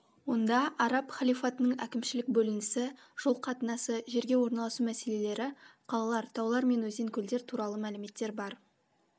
онда араб халифатының әкімшілік бөлінісі жол қатынасы жерге орналасу мәселелері қалалар таулар мен өзен көлдер туралы мәліметтер бар